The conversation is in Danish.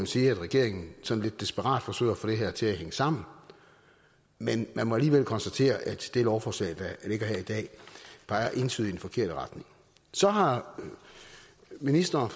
sige at regeringen sådan lidt desperat forsøger at få det her til at hænge sammen men man må alligevel konstatere at det lovforslag der ligger her i dag peger entydigt i den forkerte retning så har ministeren